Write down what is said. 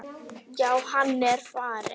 Já, hann er farinn